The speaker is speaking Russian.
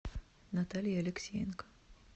наталье алексеенко